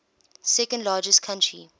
second largest country